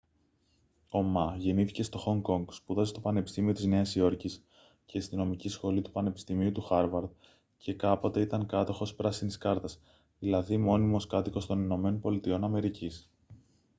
ο μα γεννήθηκε στο χονγκ κονγκ σπούδασε στο πανεπιστήμιο της νέας υόρκης και στη νομική σχολή του πανεπιστημίου του χάρβαρντ και κάποτε ήταν κάτοχος «πράσινης κάρτας» δηλαδή μόνιμος κάτοικος των ηπα